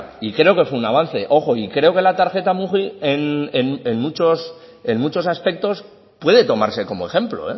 y creo que fue un avance ojo y creo que la tarjeta mugi en muchos aspectos puede tomarse como ejemplo